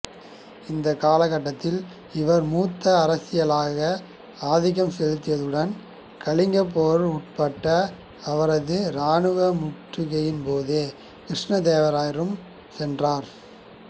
இந்த காலகட்டத்தில் இவர் மூத்த அரசியாக ஆதிக்கம் செலுத்தியதுடன் கலிங்கப் போர் உட்பட அவரது இராணுவ முற்றுகைகளின்போது கிருஷ்ணதேவராயனுடன் சென்றார்